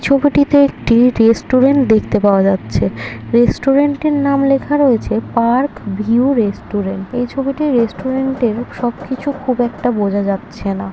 ছবিটিতে একটি রেস্টুরেন্ট দেখতে পাওয়া যাচ্ছে রেস্টুরেন্টটের নাম লেখা রয়েছে পার্ক ভিউ রেস্টুরেন্ট এই ছবিটার রেস্টুরেন্টের সবকিছু খুব একটা বোঝা যাচ্ছে না।